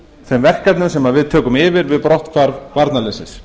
þeim verkefnum sem við tökum yfir við brotthvarf varnarliðsins